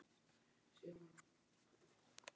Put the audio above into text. Sævar hafði komist yfir þau á sama hátt og áður.